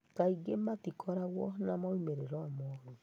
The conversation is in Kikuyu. Kaingĩ matikoragwo na moimĩrĩro moru.